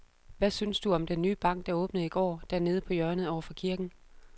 Hvad synes du om den nye bank, der åbnede i går dernede på hjørnet over for kirken?